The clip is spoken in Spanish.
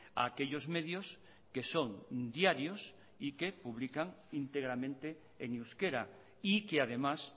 a aquellos medios que son diarios y que publican íntegramente en euskera y que además